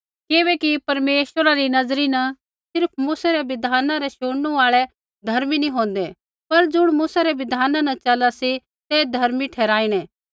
किबैकि परमेश्वरा री नज़रा न सिर्फ़ मूसै रै बिधाना रै शुणनू आल़ै धर्मी नैंई होंदै पर ज़ुण मूसै री बिधाना न चला सी तै धर्मी ठहराईणै